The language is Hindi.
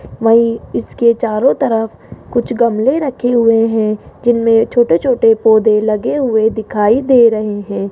वहीं इसके चारों तरफ कुछ गमले रखे हुए हैं जिनमें छोटे छोटे पौधे लगे हुए हैं दिखाई दे रहे हैं।